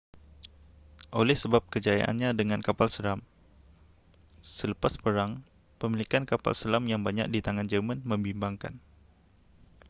oleh sebab kejayaannya dengan kapal selam selepas perang pemilikan kapal selam yang banyak di tangan jerman membimbangkan